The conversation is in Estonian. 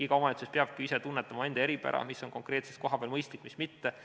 Iga omavalitsus peabki ise tunnetama oma eripära, mis on konkreetselt kohapeal mõistlik, mis mitte.